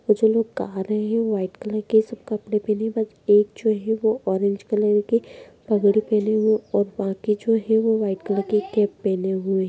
और जो लोग गा रहे हैं व्हाइट कलर के सब कपड़े पहने हैं बस एक जो है वो ऑरेंज कलर के पगड़ी पहने हुए और बाकी जो है वो व्हाइट कलर की कैप पहने हुए हैं।